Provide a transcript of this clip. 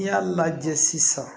N'i y'a lajɛ sisan